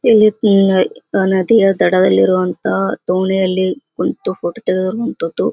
ಇಲ್ಲಿ ನದಿಯ ದಡದಲ್ಲಿರುವಂತಹ ದೊಣೆಯಲ್ಲಿ ಕುಂತು ಫೋಟೋ ತೆಗೆದಿರುವಂತಹದ್ದು --